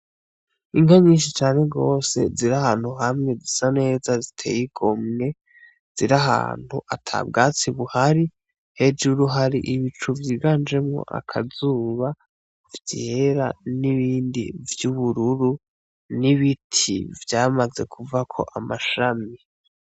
Inka nyishi cane gose ziri ahantu hamwe zisa neza ziteye igomwe ziri ahantu ata bwatsi buhari hejuru hari ibicu vyiganjemwo akazuba vyera n'ibindi vy'ubururu n'ibiti vyamaze kuvako amashami.